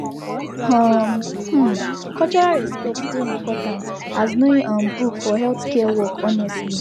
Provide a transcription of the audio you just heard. um um cultural respect dey important as knowing um book for healthcare work honestly